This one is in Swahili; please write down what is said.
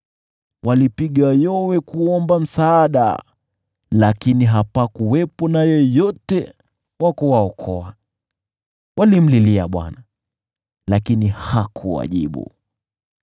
Walipiga yowe, lakini hapakuwepo na yeyote wa kuwaokoa; walimlilia Bwana , lakini hakuwajibu.